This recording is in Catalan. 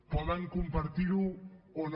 poden compartir ho o no